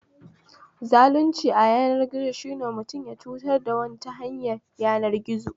Zalunci ayanar gizo shine mutum ya cutar da wani ta hanyar yanar gizo